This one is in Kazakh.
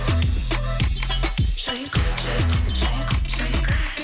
шайқа шайқа шайқа шайқа